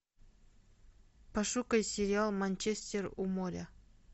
пошукай сериал манчестер у моря